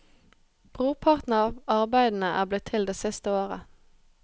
Brorparten av arbeidene er blitt til det siste året.